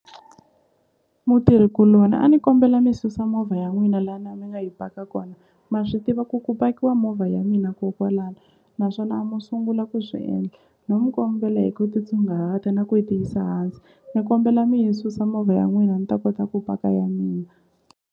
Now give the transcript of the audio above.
Mutirhikuloni a ni kombela mi susa movha ya n'wina lana mi ya mi nga yi paka kona ma swi tiva ku ku pakiwa movha ya mina kokwalano naswona a mo sungula ku swi endla no mi kombela hi ku titsongahata na ku ti yisa hansi ni kombela mi yi susa movha ya n'wina ni ta kota ku paka ya mina.